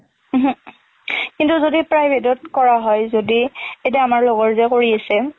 ও হো। কিন্তু যদি private অত কৰা হয় যদি, এতিয়া আমাৰ লগৰ যে কৰি আছে,